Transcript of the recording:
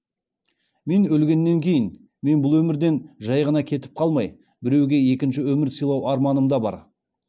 мен өлгеннен кейін мен бұл өмірден жай ғана кетіп қалмай біреуге екінші өмір сыйлау арманымда бар